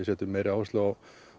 setja meiri áherslu á